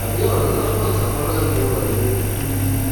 àbí ọ̀rọ̀ náà kàn já bọ́ lẹ́nu rẹ̀ ni um